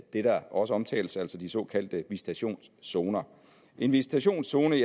der også omtales altså de såkaldte visitationszoner en visitationszone